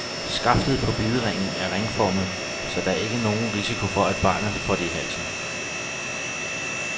Skaftet på bideringen er ringformet, så der ikke er nogen risiko for, at barnet kan få det i halsen.